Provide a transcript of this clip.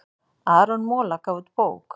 Aron Mola gaf út bók